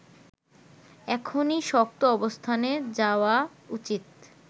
এখনই শক্ত অবস্থানে যাওয়া উচিত